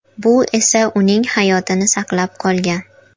Bu esa uning hayotini saqlab qolgan.